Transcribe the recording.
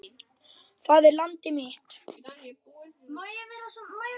Það er landið mitt!